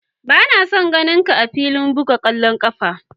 Ba na son taba ganin ka'a filin bugan kwallon kwando!